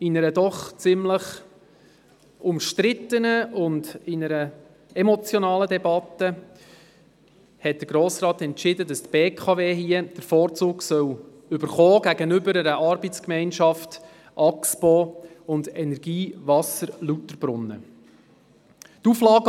In einer doch ziemlich umstrittenen und emotionalen Debatte entschied der Grosse Rat, dass der BKW AG den Vorzug gegeben werden solle gegenüber einer Arbeitsgemeinschaft (ARGE), bestehend aus der Axpo AG und der Energie Wasser Lauterbrunnen (EWL).